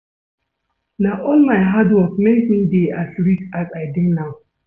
Na all my hard work make me dey as rich as I dey now